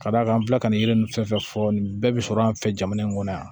Ka d'a kan an bɛ tila ka nin yiri ninnu fɛn fɛn fɔ nin bɛɛ bi sɔrɔ an fɛ jamana in kɔnɔ yan